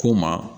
Ko ma